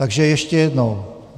Takže ještě jednou.